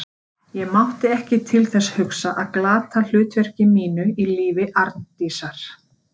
Ég mátti ekki til þess hugsa að glata hlutverki mínu í lífi Arndísar.